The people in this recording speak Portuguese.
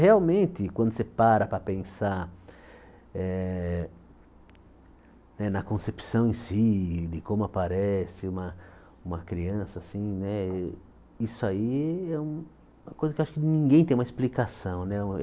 Realmente, quando você para para pensar eh na concepção em si, e de como aparece uma ema criança, isso aí é uma coisa que acho que ninguém tem uma explicação né.